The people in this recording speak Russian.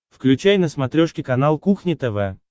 включай на смотрешке канал кухня тв